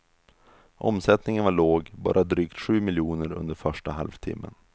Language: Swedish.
Omsättningen var låg, bara drygt sju miljoner under första halvtimmen.